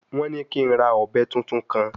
Wọ́n ní kí n ra ọ̀bẹ tuntun kan